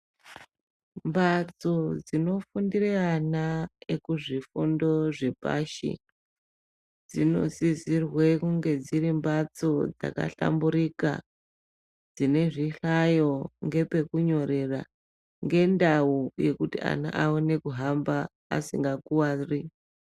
Mbatso dzinofundire ana ekuzvifundo zvepashi dzinosisirwe kunge dziri mbatso dzakahlamburika, dzine zvihlayo ngepekunyorera, ngendau yekuti ana aone kuhamba asingakuwari.